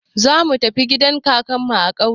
Zamu tafi gidan kakanmu a ƙauye.